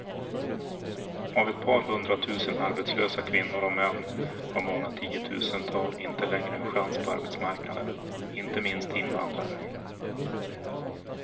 Av ett par hundratusen arbetslösa kvinnor och män har många tiotusental inte längre en chans på arbetsmarknaden, inte minst invandrare.